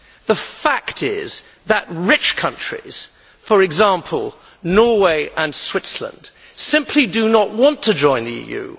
The fact is that rich countries, for example Norway and Switzerland, simply do not want to join the EU.